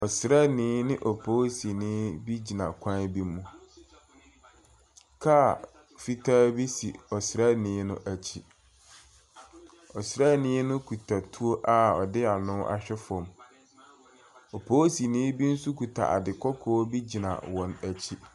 Ɔsraani ne opolisini bi gyina kwan bi mu. Kaa fitaa bi si ɔsraani no akyi. Ɔsraani no kita tuo a ɔde ano ahwɛ fam. Opolisini bi nso kita ade kɔkɔɔ bi gyina wɔn akyi.